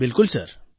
બિલકુલ સર